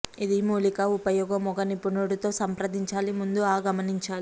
ఇది మూలికా ఉపయోగం ఒక నిపుణుడు తో సంప్రదించాలి ముందు ఆ గమనించాలి